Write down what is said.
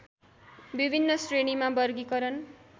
विभिन्न श्रेणीमा वर्गीकरण